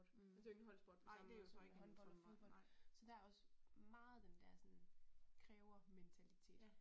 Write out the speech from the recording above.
Det jo ikke en holdsport på samme måde som håndbold og fodbold så der er også meget den der sådan krævermentalitet